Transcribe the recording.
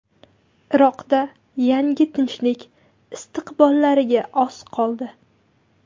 Iroqda yangi tinchlik istiqbollariga oz qoldi.